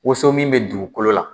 Woson min bɛ dugukolo la